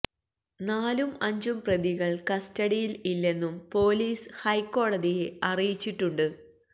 നാലും അഞ്ചും പ്രതികൾ കസ്റ്റഡിയിൽ ഇല്ലെന്നും പൊലീസ് ഹൈക്കോടതിയെ അറിയിച്ചിട്ടുണ്ട്